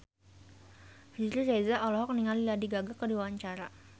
Riri Reza olohok ningali Lady Gaga keur diwawancara